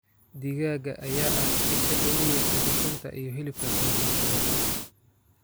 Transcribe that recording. Digaagga ayaa ah isha ugu weyn ee ukunta iyo hilibka qoysas badan.